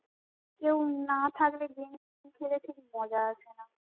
কেউ না থাকলে গেম খেলা ঠিক মজা আসেনা